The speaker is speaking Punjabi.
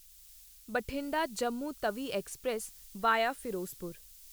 Bathinda Jammu Tawi express via Firozpur